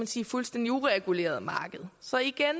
sige fuldstændig uregulerede marked så igen